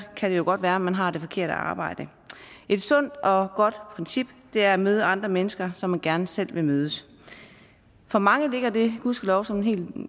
kan det jo godt være man har det forkerte arbejde et sundt og godt princip er at møde andre mennesker som man gerne selv vil mødes for mange ligger det gudskelov som en